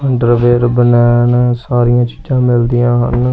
Underwear ਬਨੈਣ ਸਾਰੀਆਂ ਚੀਜ਼ਾਂ ਮਿਲਦੀਆਂ ਹਨ।